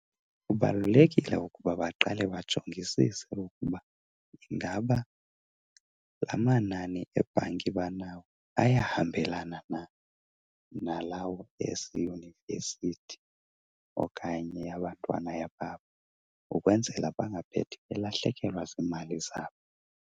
Kubalulekile ukuba baqale bajongisise ukuba ingaba la manani ebhanki banawo ayahambelana na nalawo aseyunivesithi okanye yabantwana babo ukwenzela bangaphethi belahlekelwa ziimali zabo.